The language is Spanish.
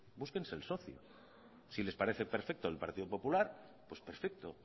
búsquense el socio si les parece perfecto el partido popular pues perfecto